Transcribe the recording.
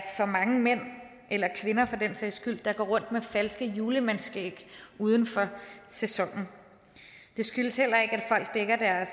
mange mænd eller kvinder for den sags skyld der går rundt med falsk julemandsskæg uden for sæsonen det skyldes heller ikke at